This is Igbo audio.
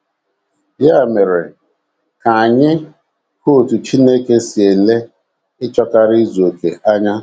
Ya mere, ka anyị hụ otú Chineke si ele ịchọkarị izu okè anya.